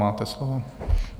Máte slovo.